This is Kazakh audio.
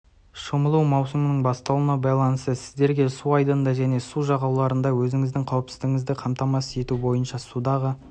шомылу маусымының басталуына байланысты сіздерге су айдынында және су жағалауларында өзіңіздің қауіпсіздігіңізді қамтамасыз ету бойынша судағы